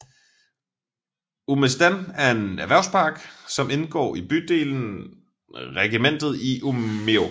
Umestan er en erhvervspark som indgår i bydelen Regementet i Umeå